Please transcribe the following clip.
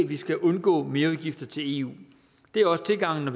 vi skal undgå merudgifter til eu det er også tilgangen i